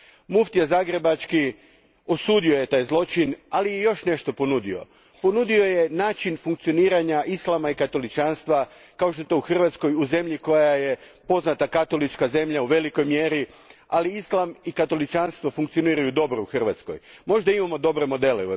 Mufti zagrebački osudio je taj zločin, ali i još nešto ponudio ponudio je način funkcioniranja islama i katoličanstva kao što je to u Hrvatskoj, u zemlji koja je poznata katolička zemlja u velikoj mjeri ali islam i katoličantvo u Hrvatskoj funkcioniraju dobro. Možda u Europi imamo dobre modele.